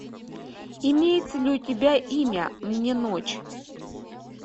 имеется ли у тебя имя мне ночь